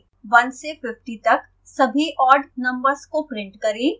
1 से 50 तक सभी ऑड odd नम्बर्स को प्रिंट करें